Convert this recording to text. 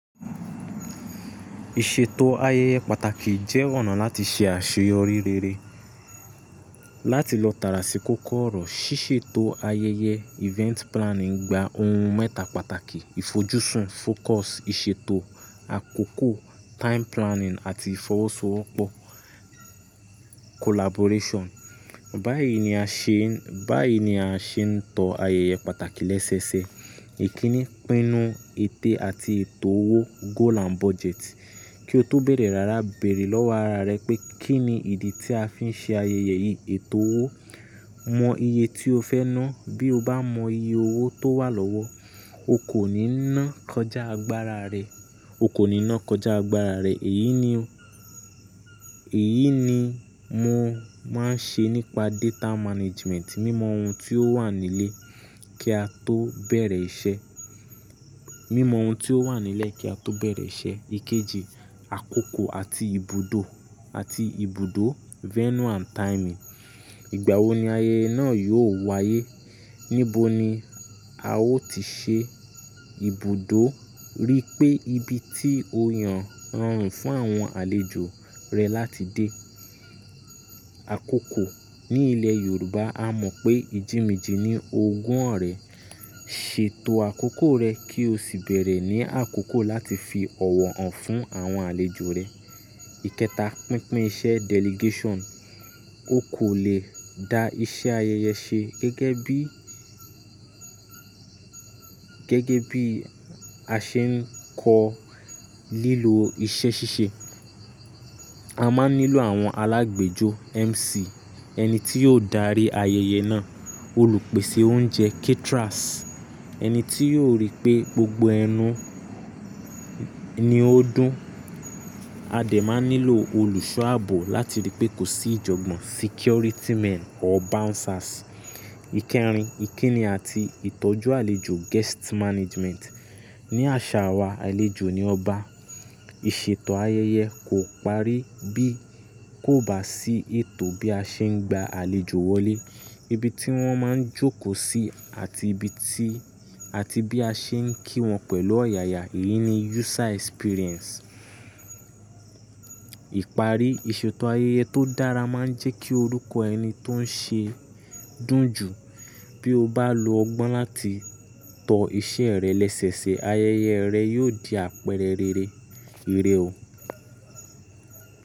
Ìṣètò ayẹyẹ pàtàkì jẹ́ ọ̀nà láti ṣe àṣeyọrí rere. Láti lọ tàrà si kóko ọ́rọ̀, ṣíṣètò ayẹyẹ event planning gba ohun mẹ́ta pàtàkì; ìfojúsùn focus, ìṣètò àkókò time planning àti ìfọwọ́sowọ́pọ̀ collaboration. Báyìí ni a ṣe n, báyìí ni a ṣe ń tọ ayẹyẹ pàtàkì lẹ́sẹ̀ẹsẹ̀. Ìkíni, pinu, ete àti ètò owó goal and budget. Kí o tó bẹ̀rẹ̀, rárá béèrè lọ́wọ́ ara rẹ pé kíni ìdí tí a fi n ṣe ayẹyẹ yìí? Ètò owó, mọ iye tí o fẹ́ ná. Bí o bá mọ iye owó tó wà lọ́wọ́, o kò ní ná kọjá agbára rẹ, o kò ní ná kọjá agbára rẹ. Èyí ni o, èyí ni mo máa ń ṣe nípa data management. Mímọ ohun tí ó wà nílẹ̀ kí a tó bẹ̀rẹ̀ iṣẹ́. Mímọ ohun tí ó wà nílẹ̀ kí a tó bẹ̀rẹ̀ iṣẹ́. Ikeji, àkókò àti ibùdó, àti ibùdó Venue and timing. Ìgbà wo ni ayẹyẹ náà yóò wáyé? Níbo ni a ó ti ṣe? Ibùdó, rí pé ibi tí o yàn rọrùn fún àwọn àlejò rẹ láti dé. Àkókò, ní ilẹ̀ Yorùbá a mọ̀ pé ìjì mejì ní ogún ọ̀rẹ́. Ṣètò àkókò rẹ kí o sì bẹ̀rẹ̀ ní àkókò láti fi ọ̀wọ̀ hàn fún àwọn àlejò rẹ. Ikẹta, pínpín iṣẹ́ delegation. O kò lè da iṣẹ́ ayẹyẹ ṣe gẹ́gẹ́ bí, gẹ́gẹ́ bí a ṣe ń kọ lílo iṣẹ́ ṣíṣe. A máa n nílò àwọn alágbejo MC, ẹni tí yóò darí ayẹyẹ náà, olùpèsè oúnjẹ caterers, ẹni tí yóò rí pé gbogbo ẹnu ni ó dún. A dè máa n nílò olùsọ̀ ààbò láti rí pé kò sí ìjọ̀gbọ̀n, security men or bouncers. Ikẹrin, ìkíni àti ìtọ́jú àlejò guest management. Ni àṣà wa àlejò ni ọba. Ìṣètò ayẹyẹ kò parí bí kò bá sí ètò bí a ṣe ń gba àlejò wọlé, ibi tí wón máa ń jókòó sí àti ibi tí, àti bí a ṣe ń kí wọn pẹ̀lú ọ̀yàyà. Èyí ni user experience. Ìparí ìṣètò ayẹyẹ tó dára máa ń jẹ́ kí orúkọ ẹni tó ń ṣe dún jù. Bí o bá lo ọgbọ́n láti tọ iṣẹ́ rẹ lẹ́sẹ̀ẹsẹ̀, ayẹyẹ rẹ yóò di àpẹẹrẹ rere. Ire o.